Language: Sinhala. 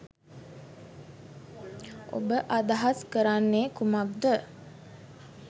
ඔබ අදහස් කරන්නේ කුමක්ද?